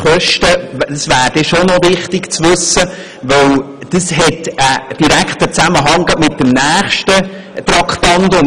Es wäre wichtig, das zu wissen, denn es gibt einen direkten Zusammenhang mit dem nächsten Traktandum.